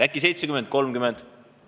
Äkki 70 : 30?